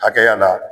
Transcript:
Hakɛya la